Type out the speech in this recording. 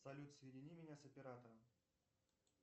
салют соедини меня с оператором